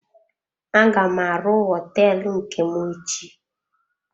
Aga m arụ hoteelu nke m echi.